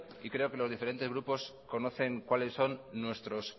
y creo que los diferentes grupos conocen cuáles son nuestros